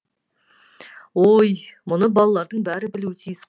ой мұны балалардың бәрі білуі тиіс қой